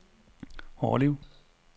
Hårlev